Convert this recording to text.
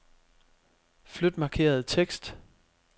Flyt markerede tekst.